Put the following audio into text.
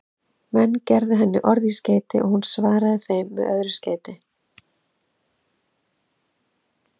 Menn gerðu henni orð í skeyti og hún svaraði þeim með öðru skeyti.